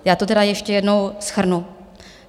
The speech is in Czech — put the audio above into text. Já to tedy ještě jednou shrnu.